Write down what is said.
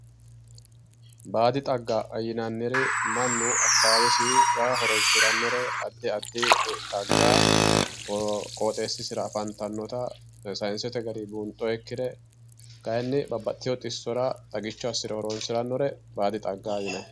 Baadi xagga yinnanniri mannu akawawesira horonsiranore addi addi xagga qooxxeesisira afantanotta sayinsete garinni buunxonikkire kayinni babbaxitino xisora xagicho assire horonsiranore baadi xagga yinnanni.